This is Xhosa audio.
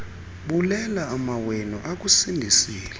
bulela amawenu akusindisileyo